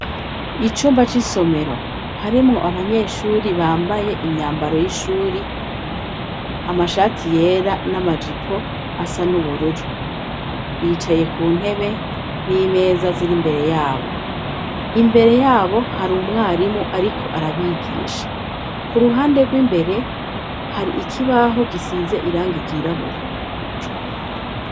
Icumba c'isomero harimwo abanyeshure bambaye imyambaro y'ishure, amashati yera n'amajipo asa n'ubururu, bicaye ku ntebe n'imeza ziri imbere yabo, imbere yabo hari umwarimu ariko arabigisha, ku ruhande rw'imbere hari ikibaho gisize irangi ryirabura.